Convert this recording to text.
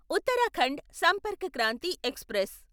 Uttarakhand Sampark Kranti express